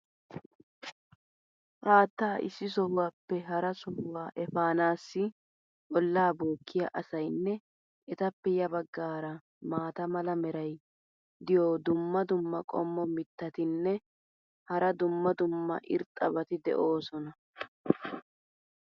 haattaa issi sohuwaappe hara sohuwaa epaanaassi olaa bookiya asaynne etappe ya bagaara maata mala meray diyo dumma dumma qommo mitattinne hara dumma dumma irxxabati de'oosona.